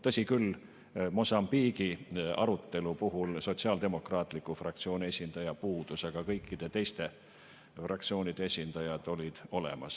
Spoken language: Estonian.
Tõsi küll, Mosambiigi arutelu puhul sotsiaaldemokraatliku fraktsiooni esindaja puudus, aga kõikide teiste fraktsioonide esindajad olid olemas.